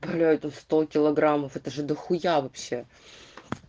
блять ну сто килограммов это же дохуя вообще